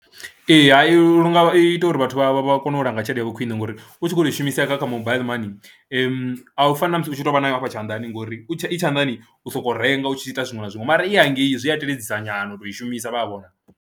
Ee, i lu nga ita uri vhathu vha vha vha kone u langa tshelede yawe khwine ngori u tshi khou tou i shumisea kha kha mobile money a u fani na musi u tshi tou vha nayo hafha tshanḓani ngori i tshanḓani u sokou renga u tshi ita zwiṅwe na zwiṅwe mara i ya hangei zwi a teledza nyana u tou i shumisa vha a vhona.